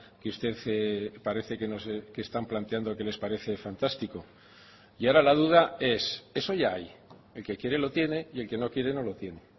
que usted parece que están planteando que les parece fantástico y ahora la duda es eso ya hay el que quiere lo tiene y el que no quiere no lo tiene